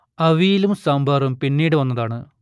അവിയലും സാമ്പാറും പിന്നീട് വന്നതാണ്